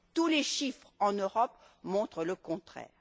Tous les chiffres en Europe montrent le contraire.